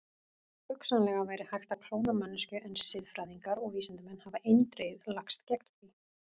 Hugsanlega væri hægt að klóna manneskju en siðfræðingar og vísindamenn hafa eindregið lagst gegn því.